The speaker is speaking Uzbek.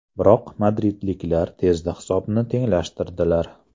Biroq madridliklar tezda hisobni tenglashtirdilar.